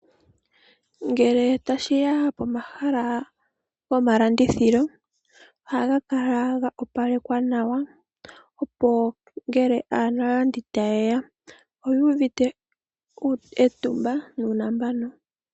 Ngele tashiya pomahala gomalandithilo ohaga kala ga opalekwa nawa opo ngele aalandi taye ya oyu uvite etumba nuunambano.